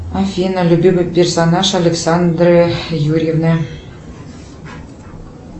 афина любимый персонаж александры юрьевны